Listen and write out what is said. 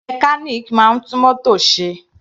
Mechanic máa ń tún mótò ṣe.